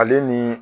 Ale ni